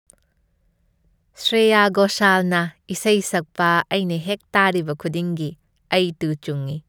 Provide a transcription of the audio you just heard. ꯁ꯭ꯔꯦꯌꯥ ꯘꯣꯁꯥꯜꯅ ꯏꯁꯩ ꯁꯛꯄ ꯑꯩꯅ ꯍꯦꯛ ꯇꯥꯔꯤꯕ ꯈꯨꯗꯤꯡꯒꯤ, ꯑꯩ ꯇꯨ ꯆꯨꯡꯏ꯫